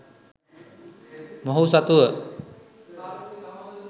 මොහු සතුව